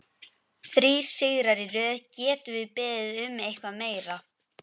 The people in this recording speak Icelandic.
Þrír sigrar í röð, getum við beðið um eitthvað meira?